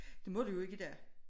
Det må du jo ikke i dag